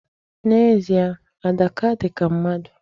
N'ezie, Adaka dị ka mmadụ.